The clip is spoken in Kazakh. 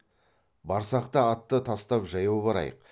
барсақ та атты тастап жаяу барайық